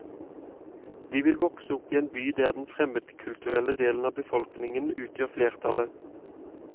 De vil vokse opp i en by der den fremmedkulturelle delen av befolkningen utgjør flertallet.